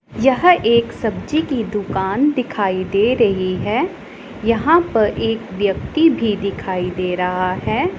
यह एक सब्जी की दुकान दिखाई दे रही है यहां पर एक व्यक्ति भी दिखाई दे रहा है।